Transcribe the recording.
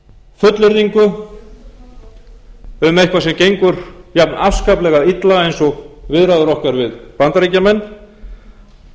fullyrðingu um eitthvað sem gengur jafn afskaplega illa eins og viðræður okkar við bandaríkjamenn